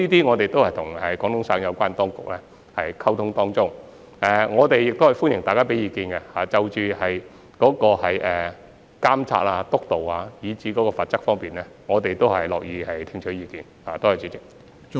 我們正就此與廣東省有關當局溝通，而我們亦歡迎大家就監察、督導及罰則方面提出意見，我們是樂意聽取意見的。